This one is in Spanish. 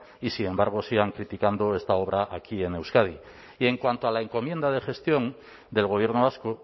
y sin embargo sigan criticando esta obra aquí en euskadi y en cuanto a la encomienda de gestión del gobierno vasco